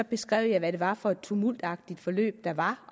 beskrev hvad det var for et tumultagtig forløb der var